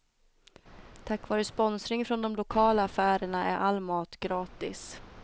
Tack vare sponsring från de lokala affärerna är all mat gratis.